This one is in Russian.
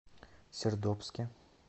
сердобске